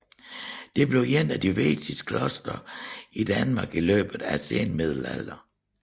Det blev et af de vigtigste klostre i Danmark i løbet af senmiddelalderen